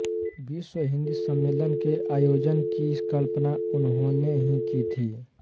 विश्व हिन्दी सम्मेलन के आयोजन की कल्पना उन्होने ने ही की थी